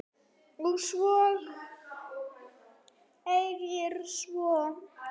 Og segir svo